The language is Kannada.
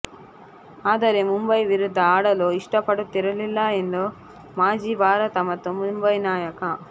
ಆದರೆ ಮುಂಬೈ ವಿರುದ್ಧ ಆಡಲು ಇಷ್ಟಪಡುತ್ತಿರಲಿಲ್ಲ ಎಂದು ಮಾಜಿ ಭಾರತ ಮತ್ತು ಮುಂಬೈ ನಾಯಕ